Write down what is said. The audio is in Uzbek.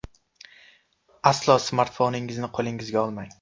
Aslo smartfoningizni qo‘lingizga olmang.